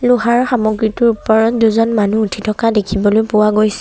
লোহাৰ সামগ্ৰীটোৰ ওপৰত দুজন মানুহ উঠি থকা দেখিবলৈ পোৱা গৈছ--